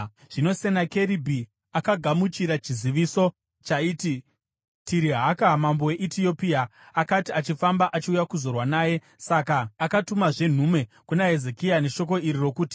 Zvino Senakeribhi akagamuchira chiziviso chaiti Tirihaka, mambo weEtiopia akanga achifamba achiuya kuzorwa naye. Saka akatumazve nhume kuna Hezekia neshoko iri rokuti: